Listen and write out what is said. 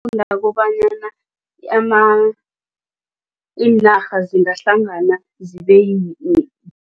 Ngifunda kobanyana iinarha zingahlangana zibe